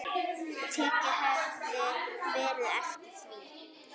Tekið hefði verið eftir því.